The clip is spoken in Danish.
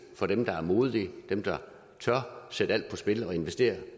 for dem der er modige dem der tør sætte alt på spil og investere